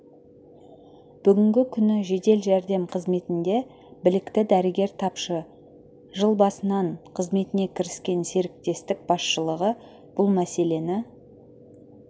бүгінгі күні жедел жәрдем қызметінде білікті дәрігер тапшы жыл басынан қызметіне кіріскен серіктестік басшылығы бұл мәселені